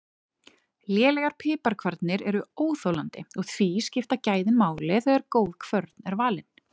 Lélegar piparkvarnir eru óþolandi og því skipta gæðin máli þegar góð kvörn er valin.